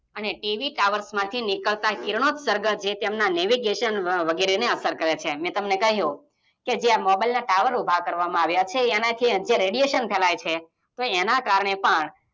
Mobile અને T_VTower માંથી નીકરતા કિરણોત્સર્ગ જે તેમના નેવિગેશન વગેરેને અસર કરે છે. માઇ તમને કહ્યું જે આ મોબાઈલના ટાવર ઉભા કરવામાં આવ્યા છે એનાથી અત્યારે રેડિશન ફેલાઈ છે, તો એના કારણે પણ